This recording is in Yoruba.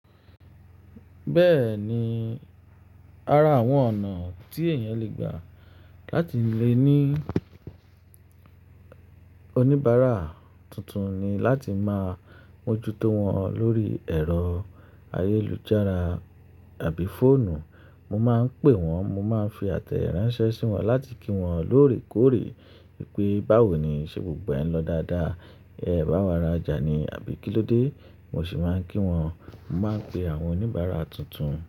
Bẹ́ẹ̀ ni, ara àwọn ọ̀nà tí èèyàn le gbà láti lè ní oníbàárà tuntun ni láti máa mójútó wọn lórí ẹ̀rọ ayélujára àbí fóònù. Mo máa ń pè wọ́n, mo máa ń fi àtẹ ìránṣẹ́ sí wọn láti kí wọn lóòrèkóòrè pé báwo ni ṣe gbogbo ẹn lọ dáadáa, ẹ bá wa rajà ni àbí kí ló dé. Mo sì máa ń kí wọn, mo máa ń pe àwọn oníbàárà tuntun.